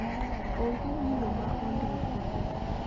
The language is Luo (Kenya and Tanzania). Onge gino ma ondiki